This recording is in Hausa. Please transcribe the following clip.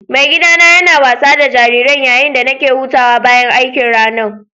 Mai gida na yana wasa da jariran yayin da nake hutawa bayan aikin ranan.